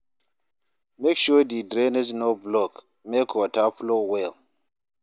Make sure di drainage no block, make water flow well.